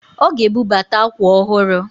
Ọ ga-ebubata akwa ọhụrụ